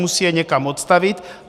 Musí je někam odstavit.